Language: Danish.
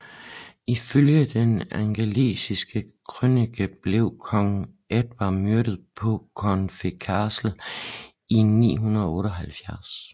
Ifølge den Angelsaksiske Krønike blev kong Edvard myrdet på Corfe Castle i 978